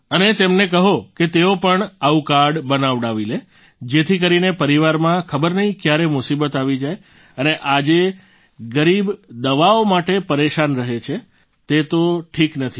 અને તેમને કહો કે તેઓ પણ આવું કાર્ડ બનાવાડી લે જેથી કરીને પરિવારમાં ખબર નહીં ક્યારે મુસીબત આવી જાય અને આજે ગરીબ દવાઓ માટે પરેશાન રહે એ તો ઠીક નથી